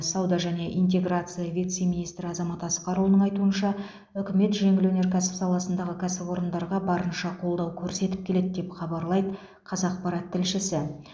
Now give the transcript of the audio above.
сауда және интеграция вице министрі азамат асқарұлының айтуынша үкімет жеңіл өнеркәсіп саласындағы кәсіпорындарға барынша қолдау көрсетіп келеді деп хабарлайды қазақпарат тілшісі